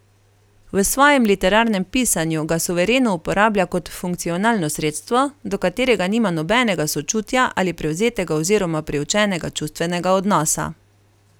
V svojem literarnem pisanju ga suvereno uporablja kot funkcionalno sredstvo, do katerega nima nobenega sočutja ali privzetega oziroma priučenega čustvenega odnosa.